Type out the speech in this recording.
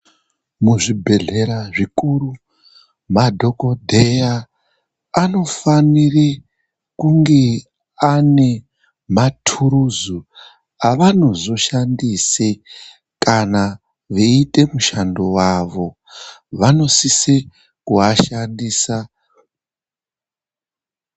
Muzvibhehlera zvikuru madhokodheya anofanire kunge ane maturuzu avanozoshandise kana veite mushando wavo vanosise kuashandisa .